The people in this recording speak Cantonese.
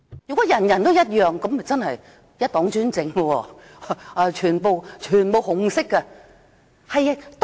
如果人人都一樣，那便是一黨專政了，全部都是紅色。